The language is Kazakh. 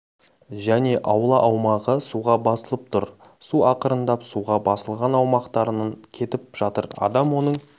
және аула аумағы суға басылып тұр су ақырындап суға басылған аумақтарынан кетіп жатыр адам оның